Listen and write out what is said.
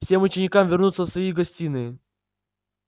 всем ученикам вернуться в свои гостиные